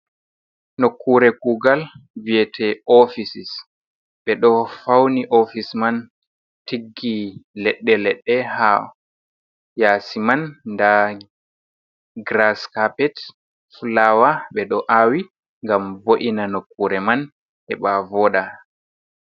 Nokkure kuugal vi'ete ofices. Ɓe ɗo fauni ofice man, tiggi leɗɗe-leɗɗe haa yaasi man. Nda graskapet, flawa ɓe ɗo aawi ngam vo’ina nokkure man heɓa vooɗa.